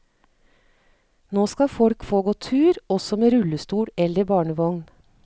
Nå skal folk få gå tur, også med rullestol eller barnevogn.